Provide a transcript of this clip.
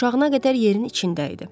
Qurşağına qədər yerin içində idi.